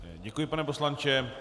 Děkuji, pane poslanče.